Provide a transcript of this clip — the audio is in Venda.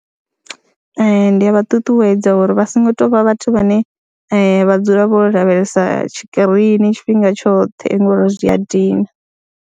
Ee, ndi a vha ṱuṱuwedza uri vha songo tou vha vhathu vhane vha dzula vho lavhelesa tshikirini tshifhinga tshoṱhe ngori zwi a dina.